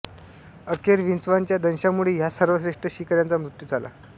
अखेर विंचवाच्या दंशामुळे ह्या सर्वश्रेष्ठ शिकाऱ्याचा मृत्यू झाला